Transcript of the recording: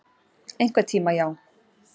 Einhvern tíma, já.